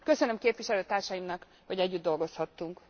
Köszönöm képviselőtársaimnak, hogy együtt dolgozhattunk!